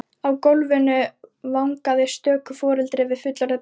Á gólfinu vangaði stöku foreldri við fullorðið barn sitt.